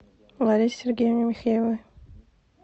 ларисе сергеевне михеевой